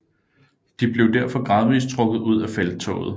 De blev derfor gradvis trukket ud af felttoget